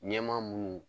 Ɲɛmaa munnu